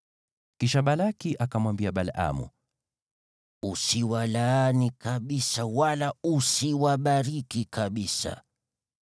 Kisha Balaki akamwambia Balaamu, “Usiwalaani kabisa, wala usiwabariki kabisa!”